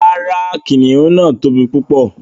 Ràrá, kìnnìún náà tó bí púpọ̀